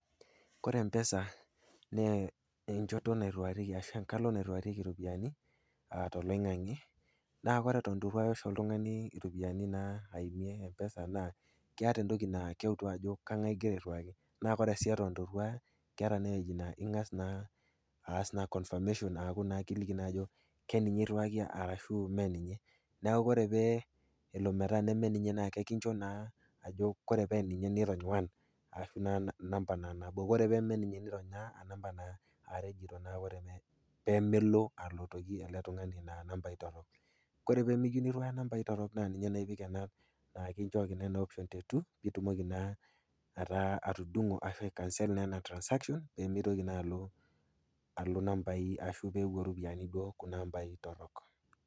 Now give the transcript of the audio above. Ore empesa naa enchoto nairuarieki ashu enkalo nairuarieki iropiani, aa toloing'ang'e, naa kore eton eitu iruaya oltung'ani iropiani naa aimie empesa naa keata entoki naa keutu ajo ng'ai igira airiwaki na ore eton eitu iruaya, keata ewueji naa ing'as naa aas confirmation kiliki naa ajo keninye iruaki arashu meninye. Neaku ore pee elo neaku mee ninye, kincho naa ajo ore paa ninye nirony one enamba naa nabo, ore pemeninye nirony are pee melo alotoki ele tung'ani naa inambai torok. Kore pe miyeu niruaya nambai torok naa ninye epik naa kinchooki ena option te two pee itumoki naa atudung'o ashu aikansel naa ena transaction pee meitoki naa alo alo inambai ashu peewuo iropiani kuna ambai torok.